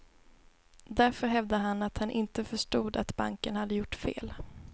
Därför hävdar han att han inte förstod att banken hade gjort fel.